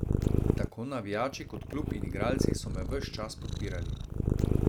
Tako navijači kot klub in igralci so me ves čas podpirali.